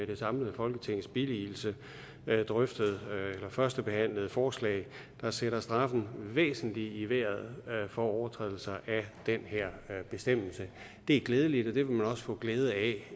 det samlede folketings billigelse har førstebehandlet et forslag der sætter straffen væsentligt i vejret for overtrædelser af den her bestemmelse det er glædeligt og det vil man også få glæde af